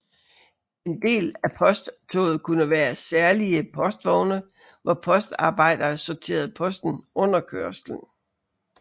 En del af posttoget kunne være særlige postvogne hvor postarbejdere sorterede posten under kørslen